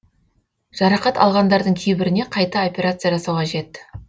жарақат алғандардың кейбіріне қайта операция жасау қажет